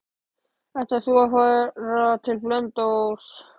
Ætlar þú að fara til Blönduóss?